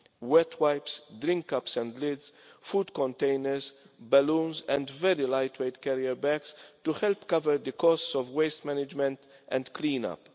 wet wipes, drink cups and lids, food containers, balloons and very lightweight carrier bags to help cover the costs of waste management and clean